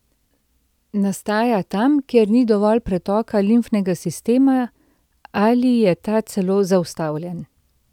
Nastaja tam, kjer ni dovolj pretoka limfnega sistema ali je ta celo zaustavljen.